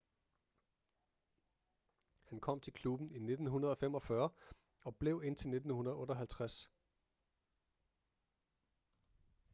han kom til klubben i 1945 og blev indtil 1958